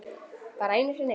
Bara einu sinni?